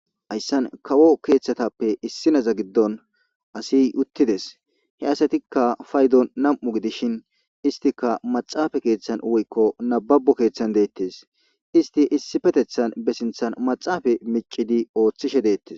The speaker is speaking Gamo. Haysani kawo keetapppe issinaza giddoni assiy utides, he asatika paydon nam'u gidishn istika maxafe keethani woyko nababo keethani detes. Isti issipetetan be sinthani maxafe micidi oothishe detesi.